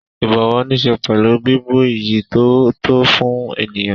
Ìbọ̀wọ̀ níṣe pẹ̀lú bíbu iyì tó tó fún ènìyàn.